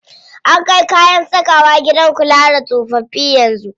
An kai kayan sakawa gidan kula da tsofaffi yanzu.